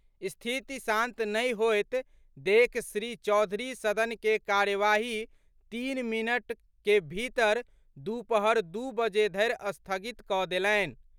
स्थिति शांत नहि होयत देखि श्री चौधरी सदन के कार्यवाही तीन मिनट के भीतर दूपहर दू बजे धरि स्थगित कऽ देलनि।